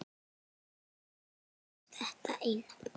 Aðeins þetta eina